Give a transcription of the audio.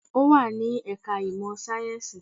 Ó wà ní ẹ̀ka ìmọ̀ sáyẹ́ǹsì